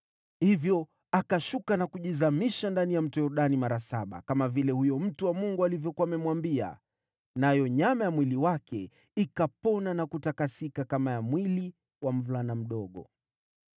Hivyo akashuka na kujizamisha ndani ya Yordani mara saba, kama vile huyo mtu wa Mungu alivyokuwa amemwambia, nayo nyama ya mwili wake ikapona na kutakasika kama ya mwili wa mvulana mdogo.